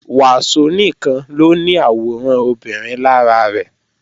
Wàsó nìkan ló ní àwòrán obìnrin lára rẹ̀